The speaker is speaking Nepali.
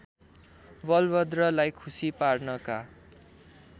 बलभद्रलाई खुसी पार्नका